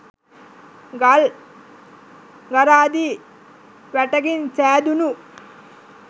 ගල් ගරාදි වැටකින් සෑදුනු